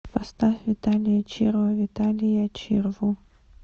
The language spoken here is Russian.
поставь виталия чирва виталия чирву